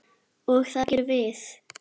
Og það gerum við.